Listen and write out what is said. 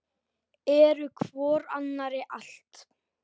Eru hvor annarri allt.